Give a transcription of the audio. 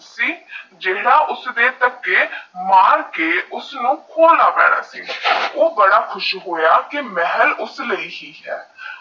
ਜੇਹਰਾ ਉਸਦੇ ਤੱਕੇ ਮਾਰ ਕੇ ਉਸਨੂ ਖੋਲਣਾ ਪਹਿਨਾ ਹੈ ਓਹ ਬੜਾ ਖੁਸ਼ ਹੋਇਆ ਕਿ ਮਹਲ ਓਐੱਸਐੱਸ ਲਾਈ ਹੀ ਹੈ